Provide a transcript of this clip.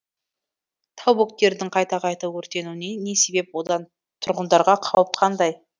тау бөктерінің қайта қайта өртенуіне не себеп одан тұрғындарға қауіп қандай